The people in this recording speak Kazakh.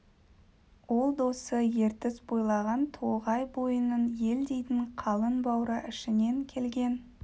ол досы ертіс бойлаған тоғай бойының ел дейтін қалың бура ішінен келген